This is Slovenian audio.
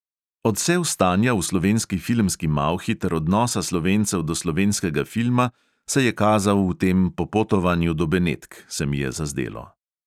Odsev stanja v slovenski filmski malhi ter odnosa slovencev do slovenskega filma se je kazal v tem popotovanju do benetk, se mi je zazdelo.